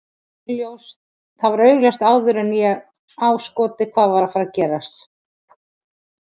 Það var augljóst áður en að ég á skotið hvað er að fara að gerast.